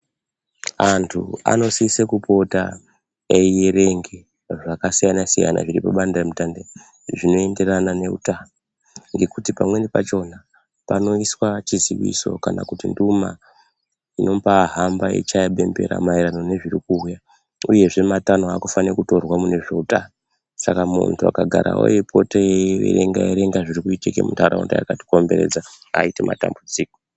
Antu anosise kupota eirenge zvakasiyana-siyana zviri padande mutande zvinoenderana neutano, ngekuti pamweni pachona panoiswa chiziiso kana nduma inombaahamba yeichaye bembera maererano nezviri kuuya, uyezve matanho anofane kutorwa mune zveutano. Saka muntu akagarawo eipota eierenga-erenga zvinoitika muntaraunda aatambudziki.